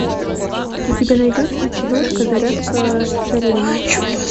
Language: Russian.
у тебя найдется киношка зарядка с царевной